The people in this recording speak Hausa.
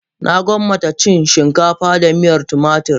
Na gwammace cin shinkafa da miyar tumatur